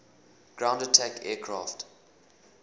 ground attack aircraft